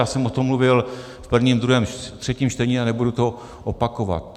Já jsem o tom mluvil v prvním, druhém, třetím čtení a nebudu to opakovat.